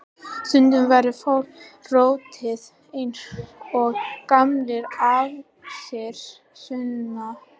Stundum verður fólk rotið eins og gamlir ávextir, Sunna.